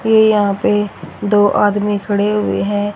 ये यहां पे दो आदमी खड़े हुए हैं।